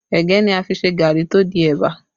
Ẹ̀gẹ́ ni a fi n se gari tó di ẹ̀bà